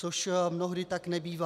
Což mnohdy tak nebývá.